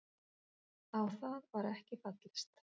Á það var ekki fallist.